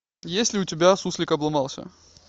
есть ли у тебя суслик обломался